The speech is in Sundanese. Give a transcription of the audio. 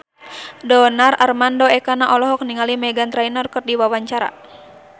Donar Armando Ekana olohok ningali Meghan Trainor keur diwawancara